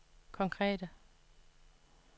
konkrete